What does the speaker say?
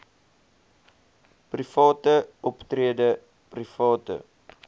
private optrede private